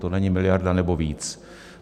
To není miliarda anebo víc.